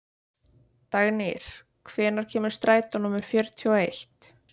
Dagnýr, hvenær kemur strætó númer fjörutíu og eitt?